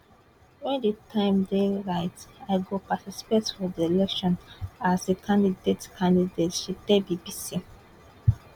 wen di time dey right i go participate for di elections as a candidate candidate she tell bbc